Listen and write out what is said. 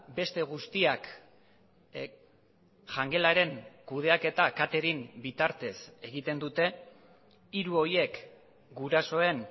beste guztiak jangelaren kudeaketa catering bitartez egiten dute hiru horiek gurasoen